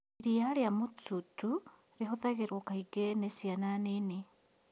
Iriia rĩa mũtuutu rihũthĩragwo kaingĩ nĩ ciana nini